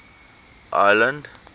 ireland